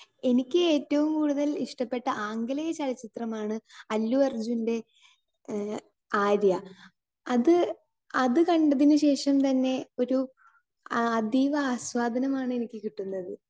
Speaker 2 എനിക്ക് ഏറ്റവും ഇഷ്ടപ്പെട്ട ആംഗലേയ ചലച്ചിത്രമാണ് അല്ലു അർജുന്റെ ആര്യ. അത് കണ്ടതിനുശേഷം പിന്നെ ഒരു അതീവ ആസ്വാദനമാണ് എനിക്ക് കിട്ടുന്നത്.